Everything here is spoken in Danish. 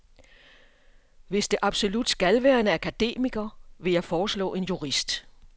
Hvis det absolut skal være en akademiker, vil jeg foreslå en jurist.